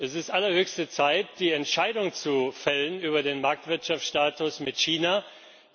Es ist allerhöchste Zeit, die Entscheidung über den Marktwirtschaftsstatus mit China zu fällen.